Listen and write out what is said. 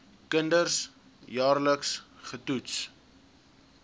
kinders jaarliks getoets